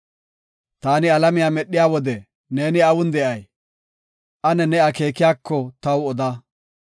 Taani alamiya medhiya wode neeni awun de7ay? Ane ne akeekiyako taw oda.